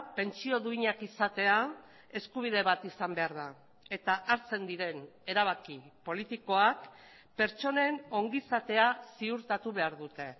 pentsio duinak izatea eskubide bat izan behar da eta hartzen diren erabaki politikoak pertsonen ongizatea ziurtatu behar dute